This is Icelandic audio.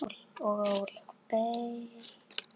Hvernig lítur hann sjálfur á?